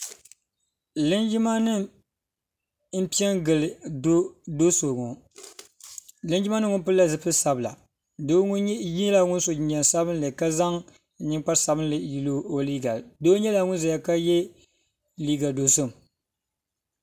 Linjima nima n pɛ ngili doo so ŋɔ linjima nima ŋɔ pili la zupiligu sabila doo ŋɔ nka zaŋ ninkpara sabinli yili o liiga doo nyɛla ŋuni zaya ka ye liiga dozim. yɛla ŋuni so jinjam sabinli